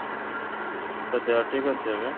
ତୋ ଦେହ ଠିକ ଅଛି ଏବେ ?